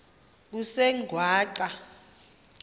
kusengwaqa